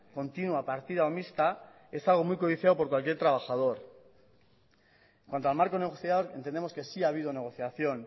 continua partida o mixta es algo muy codiciado por cualquier trabajador en cuanto al marco negociador entendemos que sí ha habido negociación